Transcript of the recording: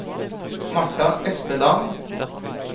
Martha Espeland